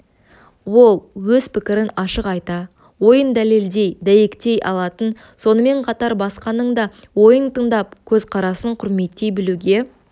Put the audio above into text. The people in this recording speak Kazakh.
ол өз пікірін ашық айта ойын дәлелдей дәйектей алатын сонымен қатар басқаның да ойын тыңдап көзқарасын құрметтей білуге